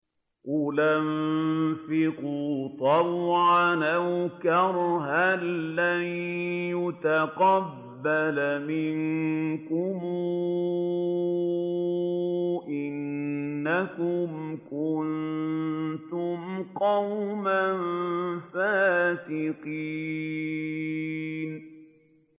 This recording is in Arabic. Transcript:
قُلْ أَنفِقُوا طَوْعًا أَوْ كَرْهًا لَّن يُتَقَبَّلَ مِنكُمْ ۖ إِنَّكُمْ كُنتُمْ قَوْمًا فَاسِقِينَ